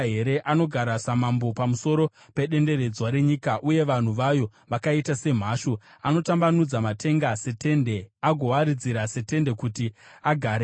Anogara samambo pamusoro pedenderedzwa renyika, uye vanhu vayo vakaita semhashu. Anotambanudza matenga setende, agoawaridzira setende kuti agaremo.